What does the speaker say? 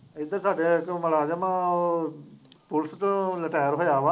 ਇੱਧਰ ਸਾਡੇ ਜੋ ਮੁਲਾਜ਼ਮ ਆ ਉਹ ਪੁਲਿਸ ਚੋਂ ਰਿਟਾਇਰ ਹੋਇਆ ਵਾ